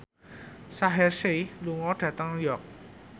Shaheer Sheikh lunga dhateng York